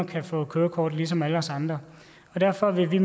kan få et kørekort ligesom alle os andre derfor vil